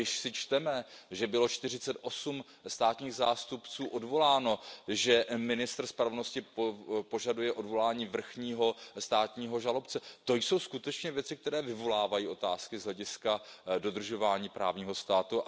Když si čteme, že bylo čtyřicetosm státních zástupců odvoláno, že ministr spravedlnosti požaduje odvolání vrchního státního žalobce, to jsou skutečně věci, které vyvolávají otázky z hlediska dodržování právního státu.